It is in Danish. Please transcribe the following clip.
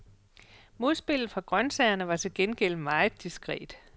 Modspillet fra grøntsagerne var til gengæld meget diskret.